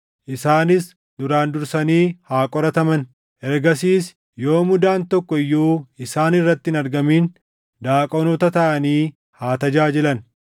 Isaanis duraan dursanii haa qorataman; ergasiis yoo mudaan tokko iyyuu isaan irratti hin argamin daaqonoota taʼanii haa tajaajilan.